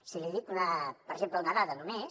si li dic per exemple una dada només